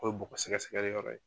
O ye bɔgɔ sɛgɛsɛgɛli yɔrɔ ye.